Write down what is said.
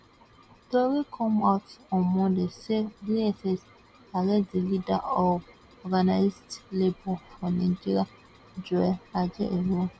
tori come out on monday say dss arrest di leader of organised labour for nigeria joe ajaero